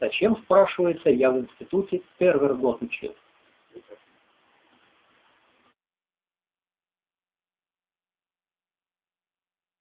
зачем спрашивается я в институте тервер год учил